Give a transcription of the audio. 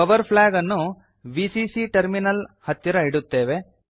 power flag ಅನ್ನು VCC terminal ಹತ್ತಿರ ಇಡುತ್ತೇವೆ